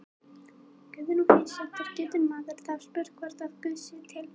Guðrún Heimisdóttir: Getur maður þá spurt hvort að Guð sé til?